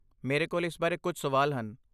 ਮੇਰੇ ਕੋਲ ਇਸ ਬਾਰੇ ਕੁਝ ਸਵਾਲ ਹਨ।